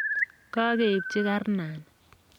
kakeibchi karnani.